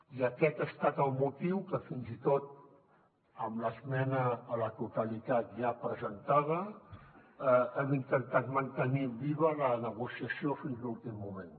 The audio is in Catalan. i aquest ha estat el motiu que fins i tot amb l’esmena a la totalitat ja presentada hem intentat mantenir viva la negociació fins a l’últim moment